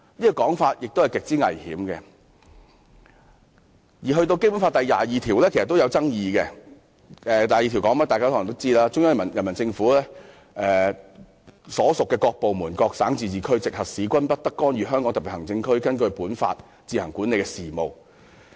大家可能都知道《基本法》第二十二條的內容："中央人民政府所屬各部門、各省、自治區、直轄市均不得干預香港特別行政區根據本法自行管理的事務。